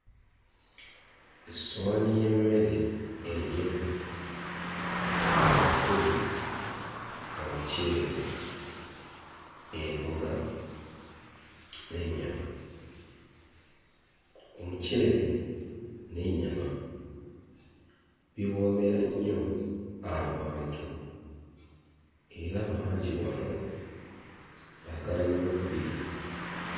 Essowaani y'emmere enjeru okuli omuceere, emboga n'ennyama. Omuceere n'ennyama biwoomera nnyo abantu era bangi wano baagala nnyo okubirya.